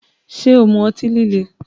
Ṣé o mu ọtí líle?